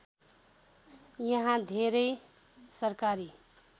यहाँ धेरै सरकारी